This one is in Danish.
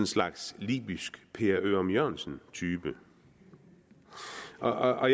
slags libysk per ørum jørgensen type og